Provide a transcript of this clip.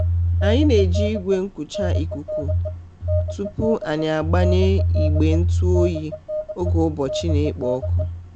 anyị na-eji igwe nkucha ikuku tupu anyị agbanye igbe ntụ oyi oge ụbọchị na-ekpo ọkụ.